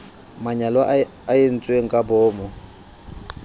manyala a entsweng ka boomo